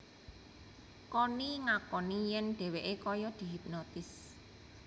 Conni ngakoni yén dheweké kaya dihipnotis